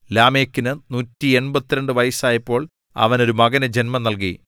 ലാമെക്കിന് 182 വയസ്സായപ്പോൾ അവൻ ഒരു മകനു ജന്മം നൽകി